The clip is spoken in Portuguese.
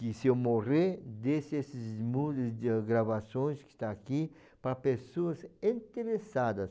que se eu morrer, deixe esses de gravações que está aqui para pessoas interessadas.